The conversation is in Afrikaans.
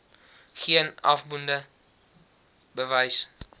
geen afdoende bewys